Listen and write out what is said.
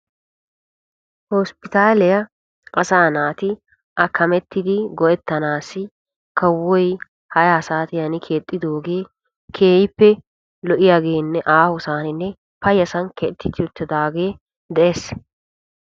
hosppitaaliya asaa naati hakkamettidi go'ettanaassi kawoy ha'i ha saatiyan keexxidoogee keehippe lo'iyage aahosaaninne payyasan keexetti uttidaage de'es.